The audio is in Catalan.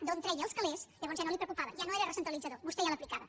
d’on treia els calés llavors ja no el preocupava ja no era recentralitzador vostè ja l’aplicava